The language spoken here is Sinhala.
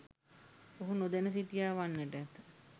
ඔහු නොදැන සිටියා වන්නට ඇත.